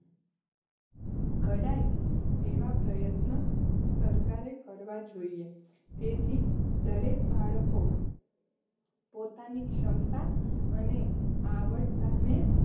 ઘડાય તેવા પ્રયત્ન સરકારે કરવા જોઈએ. તેથી દરેક બાળકો પોતાની ક્ષમતા અને આવડતને